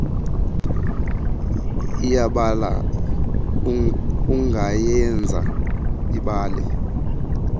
iyabala ungayenza ibale